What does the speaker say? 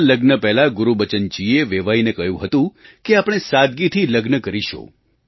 આ લગ્ન પહેલાં ગુરુબચનજીએ વેવાઈને કહ્યું હતું કે આપણે સાદગીથી લગ્ન કરીશું